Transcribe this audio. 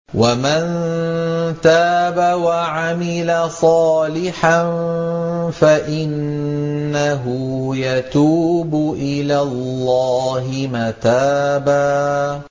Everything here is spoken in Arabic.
وَمَن تَابَ وَعَمِلَ صَالِحًا فَإِنَّهُ يَتُوبُ إِلَى اللَّهِ مَتَابًا